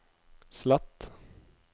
slett